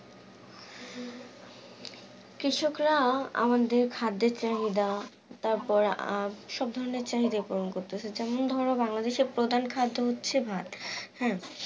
কৃষকরা আমাদের খাদ্যের চাহিদা তারপর আহ সব ধরেন চাহিদা পূরণ করতেছে যেমন ধর বাংলাদের প্রধান খাদ্য হচ্ছে ভাই, হ্যাঁ?